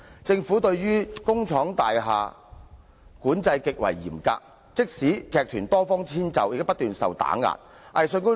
政府對工廠大廈場地的管制極為嚴格，即使藝團多方遷就也不斷受到打壓。